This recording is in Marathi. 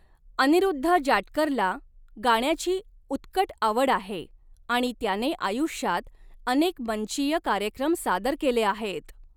अनिरुद्ध जाटकरला गाण्याची उत्कट आवड आहे आणि त्याने आयुष्यात अनेक मंचीय कार्यक्रम सादर केले आहेत.